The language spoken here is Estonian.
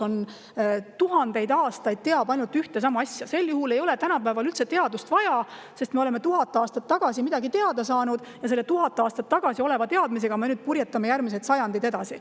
Kui tuhandeid aastaid teataks ainult ühte ja sama asja, sel juhul ei oleks tänapäeval teadust üldse vaja, sest me oleme tuhat aastat tagasi midagi teada saanud ja selle tuhat aastat tagasi saadud teadmisega me purjetame järgmised sajandid edasi.